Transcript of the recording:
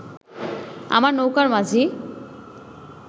আমার নৌকার মাঝি